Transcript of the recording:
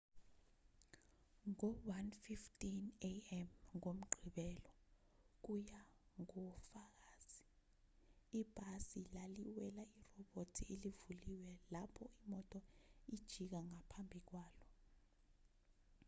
ngo-1:15 a.m. ngomgqibelo kuya ngofakazi ibhasi laliwela irobhothi elivulile lapho imoto ijika ngaphambi kwalo